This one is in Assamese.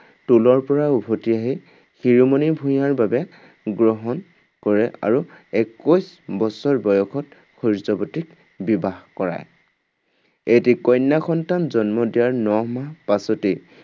টোলৰ পৰা উভতি আহি শিৰোমণি ভূঞাৰ বাবে গ্ৰহণ কৰে আৰু একৈশ বছৰ বয়সত সূৰ্যৱতীক বিবাহ কৰায়। এটি কন্যা সন্তান জন্ম দিয়াৰ ন মাহ পাছতেই